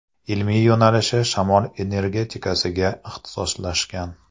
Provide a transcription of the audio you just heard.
Ilmiy yo‘nalishi shamol energetikasiga ixtisoslashgan.